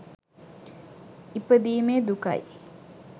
ඉපදීමේ දුකයි.